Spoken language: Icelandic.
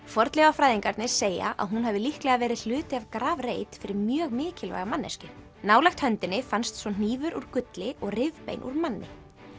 fornleifafræðingarnir segja að hún hafi líklega verið hluti af grafreit fyrir mjög mikilvæga manneskju nálægt höndinni fannst svo hnífur úr gulli og rifbein úr manni